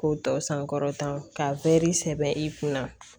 K'o tɔ sankɔrɔta ka sɛbɛ i kunna